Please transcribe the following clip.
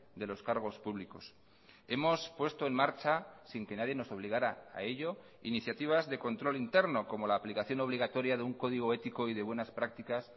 de los cargos públicos hemos puesto en marcha sin que nadie nos obligara a ello iniciativas de control interno como la aplicación obligatoria de un código ético y de buenas prácticas